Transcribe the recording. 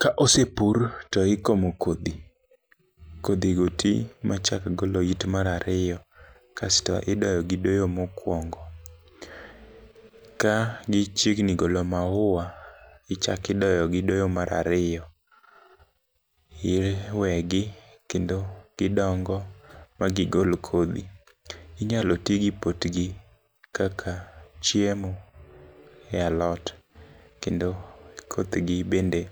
Ka osepur to ikomo kodhi kodhi go tii machak golo it mar ariyo kasto idoyo gii doyo mokwongo. Ka gichiegni golo maua ichaki doyo gi doyo mar ariyo iwegi kendo gidongo ma gigol kodhi. Inyalo tii gi potgi kaka chiemo e alot kendo kothgi bende